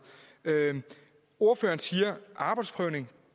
ordføreren siger at arbejdsprøvning